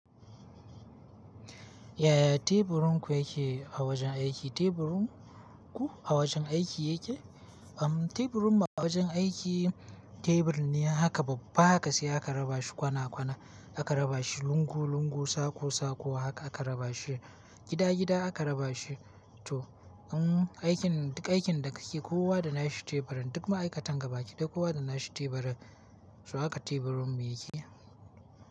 Yaya teburin ku yake a wajen aiki? Teburun ku a wajen aiki yake? Teburun mu a wajen aiki, teburi ne haka babba haka sai aka raba shi kwana kwana aka raba shi lungu lungu, sako sako haka aka raba shi, gida gida aka raba shi to. In aikin duk aikin da ka ke, kowa da nashi teburin duk ma'aikatan gaba ki daya kowa da nashi teburin, so haka teburin mu yake.